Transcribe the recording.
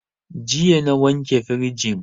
Jiya na wanke firijin